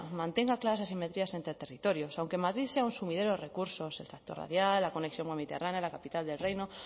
mantenga claras asimetrías entre territorios aunque madrid sea un sumidero recursos tractor radial la conexión mediterránea la capital del reino